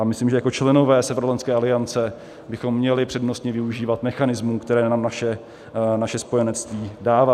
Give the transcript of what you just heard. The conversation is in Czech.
A myslím, že jako členové Severoatlantické aliance bychom měli přednostně využívat mechanismů, které nám naše spojenectví dává.